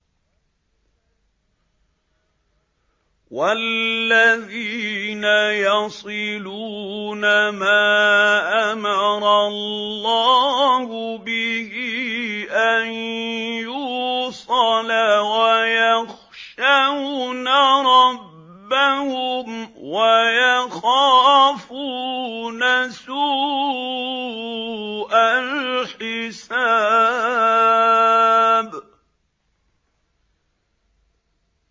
وَالَّذِينَ يَصِلُونَ مَا أَمَرَ اللَّهُ بِهِ أَن يُوصَلَ وَيَخْشَوْنَ رَبَّهُمْ وَيَخَافُونَ سُوءَ الْحِسَابِ